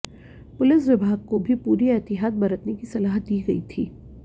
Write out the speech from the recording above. police विभाग को भी पूरी एहतियात बरतने की सलाह दी गई थी